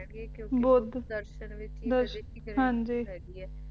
ਗੇ ਕਿਉਂਕਿ ਬੁੱਧ ਦਰਸ਼ਨ ਵਿੱਚ ਹੀ ਦ੍ਰਿਸ਼ਟੀ ਹੈਗੀ ਏ